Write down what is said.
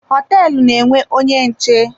Hoteelu na-enwe onye nche.